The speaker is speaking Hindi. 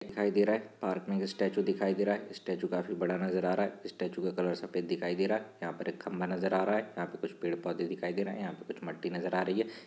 --दिखाई दे रहा है। पार्क में स्टैचू दिखाई दे रहा है। स्टेचू काफी बड़ा नजर आ रहा हैस्टैचू का कलर सफेद दिखाई दे रहा है। यहाँ पर एक खंबा नजर आ रहा हैयहाँ पे कुछ पेड़- पौधे दिखाई दे रहे हैं। यहाँ पे कुछ मटि नजर आ रही है।